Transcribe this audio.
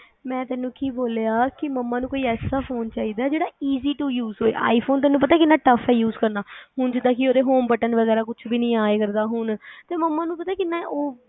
ਮੈ ਤੈਨੂੰ ਕੀ ਬੋਲਿਆ ਕੀ ਮਮਾਂ ਨੂੰ ਕੋਈ ਐਸਾ ਫ਼ੋਨ ਚਾਹੀਦਾ ਜਿਹੜਾ easy to use ਹੋਵੇ iphone ਤੈਨੂੰ ਪਤਾ ਕਿੰਨਾ tough ਆ use ਕਰਨਾ ਹੁਣ ਜਿੰਦਾ ਕੀ ਉਦੇ home button ਵਗੈਰਾ ਕੁੱਛ ਵੀ ਨਹੀ ਆ ਇਧਰ ਦਾ ਹੁਣ ਤੇ ਮਮਾਂ ਨੂੰ ਪਤਾ ਕਿੰਨਾ ਏ